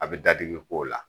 A bɛ dadigi k'o la.